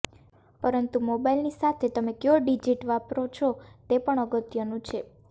પરંતુ મોબાઇલની સાથે તમે ક્યો ડિજીટ વાપરો છો તે પણ અગત્યનું છે